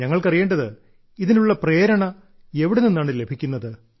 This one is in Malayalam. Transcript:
ഞങ്ങൾക്കറിയേണ്ടത് ഇതിനുള്ള പ്രേരണ എവിടെ നിന്നാണ് ലഭിക്കുന്നത്